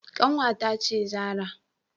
Kanwata ce Zarah.